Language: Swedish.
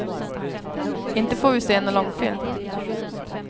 Inte får vi se nån långfilm.